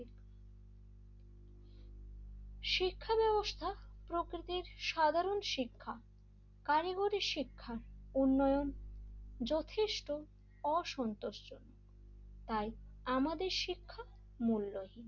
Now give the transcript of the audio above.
শিক্ষা ব্যবস্থা প্রকৃতির সাধারণ শিক্ষা কারিগরি শিক্ষা উন্নয়ন যথেষ্ট অসন্তোস্ত তাই আমাদের শিক্ষামূল্যহীন,